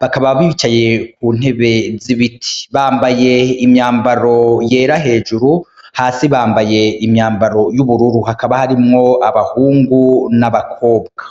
bakaba bicaye ku ntebe z'ibiti bambaye imyambaro yera hejuru hasi bambaye imyambaro y'ubururu hakaba harimwo abahungu n'abakobwa.